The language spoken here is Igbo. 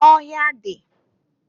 Ọhịa dị.